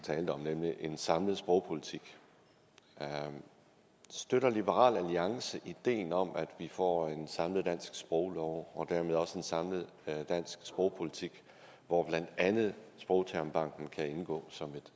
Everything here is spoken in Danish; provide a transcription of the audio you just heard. talte om nemlig en samlet sprogpolitik støtter liberal alliance ideen om at vi får en samlet dansk sproglov og dermed også en samlet dansk sprogpolitik hvor blandt andet sprogtermbanken kan indgå som